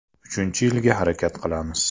Uchinchi yilga harakat qilamiz.